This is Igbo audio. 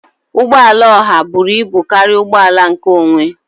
Ụgbọ ala oha buru ibu karịa ụgbọ ala nkeonwe